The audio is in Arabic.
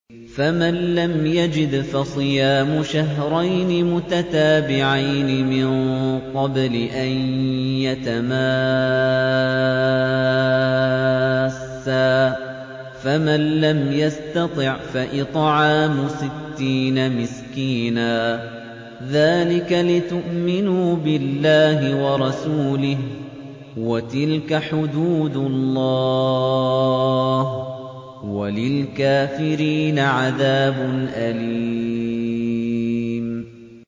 فَمَن لَّمْ يَجِدْ فَصِيَامُ شَهْرَيْنِ مُتَتَابِعَيْنِ مِن قَبْلِ أَن يَتَمَاسَّا ۖ فَمَن لَّمْ يَسْتَطِعْ فَإِطْعَامُ سِتِّينَ مِسْكِينًا ۚ ذَٰلِكَ لِتُؤْمِنُوا بِاللَّهِ وَرَسُولِهِ ۚ وَتِلْكَ حُدُودُ اللَّهِ ۗ وَلِلْكَافِرِينَ عَذَابٌ أَلِيمٌ